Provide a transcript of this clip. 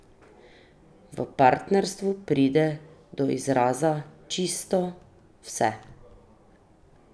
V partnerstvu pride do izraza čisto vse!